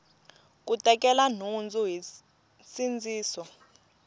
ku tekela nhundzu hi nsindziso